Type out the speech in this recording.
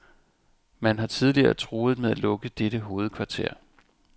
Man har tidligere truet med at lukke dette hovedkvarter.